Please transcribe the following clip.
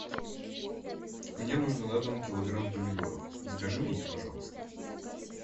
мне нужно на дом килограмм помидоров закажи мне их пожалуйста